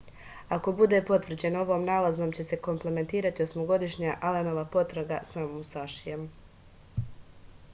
ako bude potvrđeno ovom nalazom će se kompletirati osmogodišnja alenova potraga za musašijem